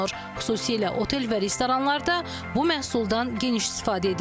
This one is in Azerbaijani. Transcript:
Xüsusilə otel və restoranlarda bu məhsuldan geniş istifadə edilir.